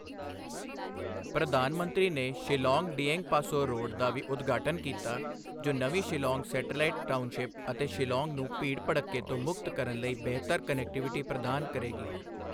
ਪ੍ਰਧਾਨ ਮੰਤਰੀ ਨੇ ਸ਼ਿਲੌਂਗ ਡਿਏਂਗਪਾਸੋਹ ਰੋਡ ਦਾ ਵੀ ਉਦਘਾਟਨ ਕੀਤਾ, ਜੋ ਨਵੀਂ ਸ਼ਿਲੌਂਗ ਸੈਟੇਲਾਈਟ ਟਾਊਨਸ਼ਿਪ ਅਤੇ ਸ਼ਿਲੌਂਗ ਨੂੰ ਭੀੜ ਭੜੱਕੇ ਤੋਂ ਮੁਕਤ ਕਰਨ ਲਈ ਬਿਹਤਰ ਕਨੈਕਟੀਵਿਟੀ ਪ੍ਰਦਾਨ ਕਰੇਗੀ।